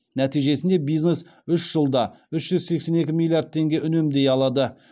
нәтижесінде бизнес үш жылда үш жүз сексен екі миллиард теңге үнемдей алады